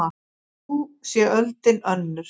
Nú sé öldin önnur.